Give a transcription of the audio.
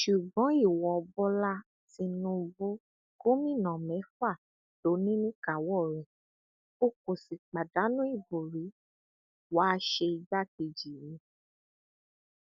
ṣùgbọn ìwo bọlá tìǹbù gómìnà mẹfà ló ní níkàáwọ rẹ o kò sì pàdánù ìbò rí wàá ṣe igbákejì mi